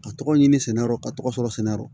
Ka tɔgɔ ɲini sɛnɛyɔrɔ ka tɔgɔ fɔlɔ sɛnɛ yɔrɔ